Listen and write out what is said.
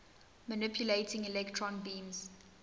manipulating electron beams